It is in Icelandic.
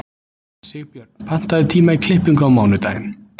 Sigbjörn, pantaðu tíma í klippingu á mánudaginn.